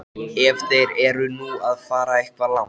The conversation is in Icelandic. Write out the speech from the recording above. Ef þeir eru nú að fara eitthvað langt.